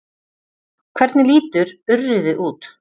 Hvernig lítur urriði út?